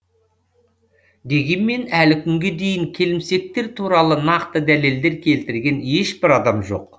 дегенмен әлі күнге дейін келімсектер туралы нақты дәлелдер келтірген ешбір адам жоқ